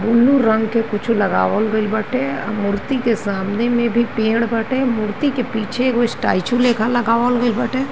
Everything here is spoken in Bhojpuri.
ब्लू रंग के कुछ लगावल गइल बाटे। मूर्ति के सामने में भी पेड़ बाटे। मूर्ति के पीछे एगो स्टैचू लेखा लगावल गईल बाटे।